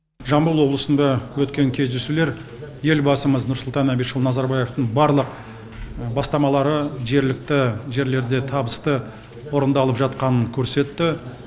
жамбыл облысында өткен кездесулер елбасымыз нұрсұлтан әбішұлы назарбаевтың барлық бастамалары жергілікті жерлерде табысты орындалып жатқанын көрсетті